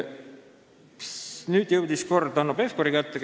Siis jõudis küsimise kord Hanno Pevkuri kätte.